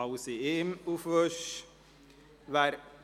Wir stimmen über alles auf einmal ab.